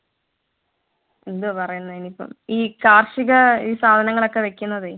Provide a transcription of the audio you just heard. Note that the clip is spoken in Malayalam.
എന്തുവാ പറയുന്നത് അതിനിപ്പം ഈ കാർഷിക ഈ സാധങ്ങളൊക്കെ വെക്കുന്നതേ